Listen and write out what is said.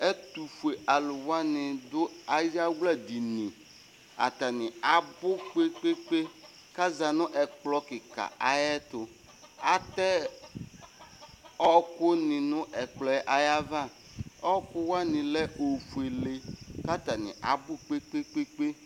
Ɛtʋfue alʋ wani dʋ ayawla dini atani abʋ kpr kpe kpe kʋ azati nʋ ɛkplɔ kika ayʋ ɛtʋ atɛ ɔkʋni nʋ ɛkplɔ yɛ ayʋ ava ɔkʋ wani lɛ ofuele kʋ atani abʋ kpe kpe kpe